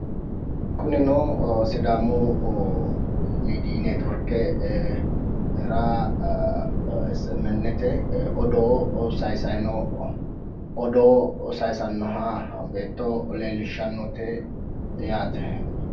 Kunino sidaamu miidiy netiworkera esi emi ennete odoo saayisayi noo, odoo saayisannoha beetto leellishshannote yaate.